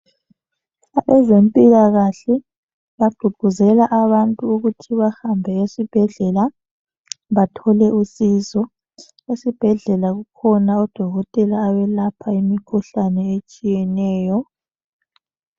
Abazemphilakahle bagqugquzele abantu ukuthi bahambe esibhedlela bathole isizo. Esibhedlela bakhona odokotela abelapha imikhuhlane etshiyeneyo.